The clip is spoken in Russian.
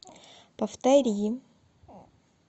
повтори